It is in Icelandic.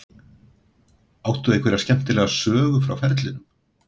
Áttu einhverja skemmtilega sögu frá ferlinum?